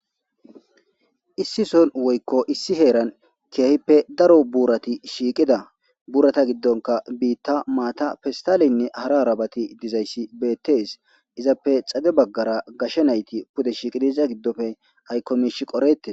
Issi son woykko issi heeran keyahippe daro buurati shiiqida buurata giddonka biitta maata fistaleynne hara arabati dizayssi beettes izappe xade baggara gashe nayti pude shiiqidiza giddofe aykkomesh qorete